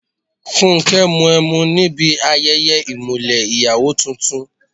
Fúnkẹ́ mu ẹmu níbi ayẹyẹ ìmùlẹ̀ ìyàwó tuntun.